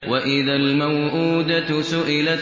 وَإِذَا الْمَوْءُودَةُ سُئِلَتْ